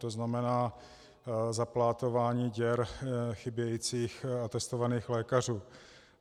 To znamená záplatování děr chybějících testovaných lékařů.